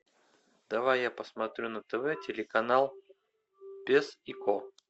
давай я посмотрю на тв телеканал пес и ко